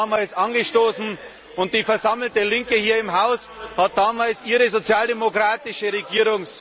das damals angestoßen, und die versammelte Linke hier im Hause hat damals ihre sozialdemokratische Regierungs...